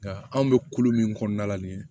Nka anw bɛ kolo min kɔnɔna la nin ye